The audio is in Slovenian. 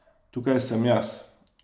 Tukaj sem jaz.